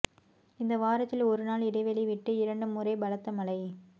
இந்த வாரத்தில் ஒரு நாள் இடைவெளி விட்டு இரண்டு முறை பலத்த மழை